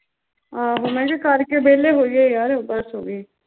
ਮੈਂ ਕਿਹਾ ਕਰਕੇ ਵਿਹਲੇ ਹੋਈਏ ਬਸ ਹੋ ਗਈ